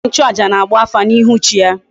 Onye nchu aja na agba afa na ihu chi ya